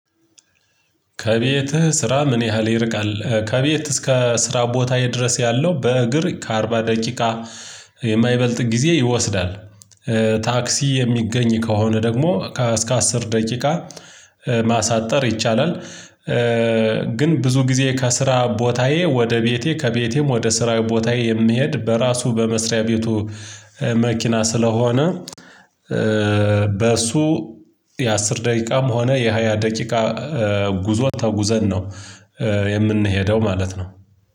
ከቤትህ ስራ ምን ያህል ይርቃል ከቤት እስከ ስራ ቦታ ድረስ ያለው በእግር ከአርባ ደቂቃ የማይበልጥ ጊዜ ይወስዳል። ታክሲ የሚገኝ ከሆነ ደግሞ እስከ አስር ደቂቃ ማሳጠር ይቻላል። ግን ብዙ ጊዜ ከስራ ቦታዬ ወደ ቤቴ ከቤቴም ወደ ስራ ቦታዬ የምሄድ በራሱ በመስሪያ ቤቱ መኪና ስለሆነ። በእሱ የአስር ደቂቃም ሆነ የሃያ ደቂቃ ጉዞ ተጉዘን ነው የምንሄደው ማለት ነው።